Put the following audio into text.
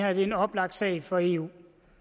er en oplagt sag for eu